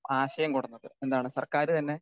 speaker 2 ആശയം കൊണ്ടുവന്നത് എന്താണ് സർക്കാര് തന്നെ